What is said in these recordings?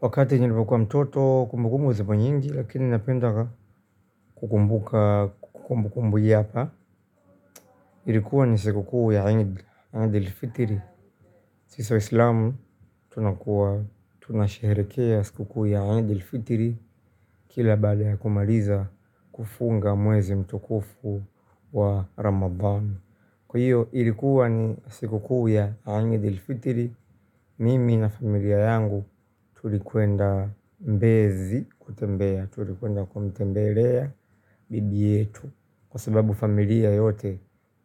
Wakati nilipokuwa mtoto, kumbukumbu ziko nyingi lakini napenda kukumbuka kumbukumbu hii hapa. Ilikuwa ni siku kuu ya Idul Fitri. Sisi waisilamu tunakuwa tunasherehekea siku kuu ya idul fitr kila baada ya kumaliza kufunga mwezi mtukufu wa ramadhan. Kwa hio ilikua ni siku kuu ya idul fitr. Mimi na familia yangu tulikwenda mbezi kutembea. Tulikwenda kumtembelea bibi yetu kwa sababu familia yote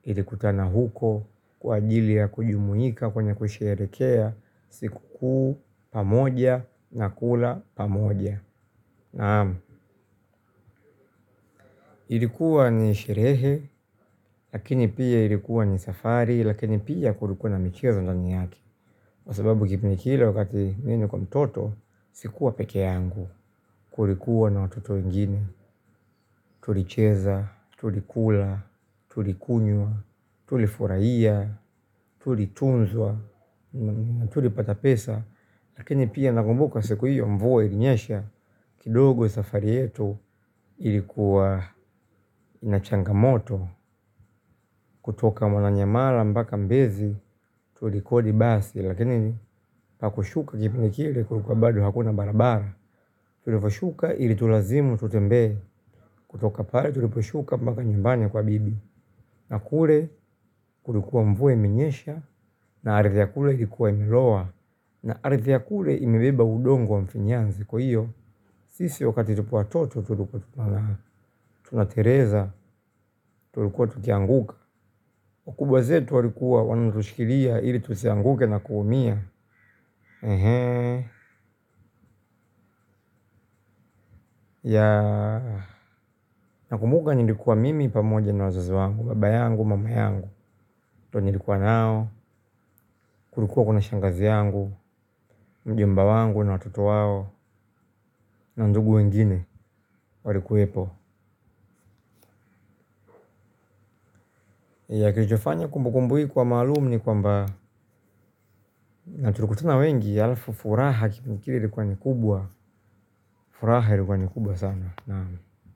ilikutana huko kwa ajili ya kujumuika kwenye kusherehekea siku kuu pamoja na kula pamoja. Naam, ilikuwa ni sherehe lakini pia ilikuwa ni safari lakini pia kulikuwa na michezo ndani yake. Kwa sababu kipindi kile wakati mimi nimekuwa mtoto si kuwa pekee yangu, kulikuwa na watoto wengine. Tulicheza, tulikula, tulikunywa, tulifurahia, tulitunzwa, tulipata pesa lakini pia nakumbuka siku hio mvua ilinyesha kidogo safari yetu ilikuwa na changamoto. Kutoka Mwananyamala mpaka mbezi tulikodi basi lakini pakushuka kipindi kile kulikuwa bado hakuna barabara. Tulivyashuka ilitulazimu tutembee kutoka pale tuliposhuka moaka nyumbani kwa bibi. Na kule kulikuwa mvua iminyesha na ardhi ya kule ilikuwa imiloa na ardhi ya kule imebeba udongo wa mfinyanzi. Kwa hiyo sisi wakati tupo watoto tulikuwa tunateleza tulikuwa tukianguka. Wakubwa zetu walikuwa wanutushkilia ili tusianguke na kuumia. Nakumbuka nilikuwa mimi pamoja na wazazi wangu, baba yangu, mama yangu. Ndio nilikuwa nao, kulikuwa kuna shangazi yangu, mjomba wangu na watoto wao na ndugu wengine walikuwepo na kilichofanya kumbukumbu hii kuwa maalum ni kwamba na tulikutana wengi alafu furaha nafikiri ilikuwa ni kubwa furaha ilikuwa ni kubwa sana.